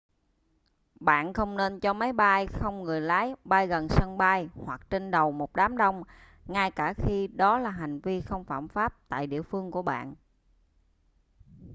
bạn không nên cho máy bay không người lái bay gần sân bay hoặc trên đầu một đám đông ngay cả khi đó là hành vi không phạm pháp tại địa phương của bạn